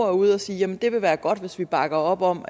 er ude at sige at det vil være godt hvis vi bakker op om